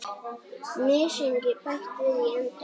Mysingi bætt við í endann.